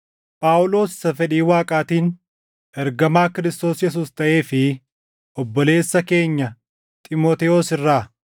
Phaawulos isa fedhii Waaqaatiin ergamaa Kiristoos Yesuus taʼee fi obboleessa keenya Xiimotewos irraa,